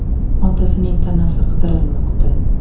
Otasining tanasi qidirilmoqda.